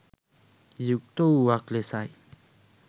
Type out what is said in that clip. යුක්ත වූවක් ලෙසයි.